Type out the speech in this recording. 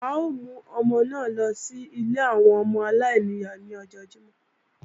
À ó mú ọmọ náà lọ sí ilé àwọn ọmọ aláìníyá lọ́jọ́ Jímọ̀